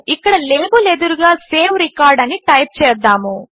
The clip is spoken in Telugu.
ఇక్కడ లాబెల్ ఎదురుగా సేవ్ రికార్డ్ అని టైప్ చేద్దాము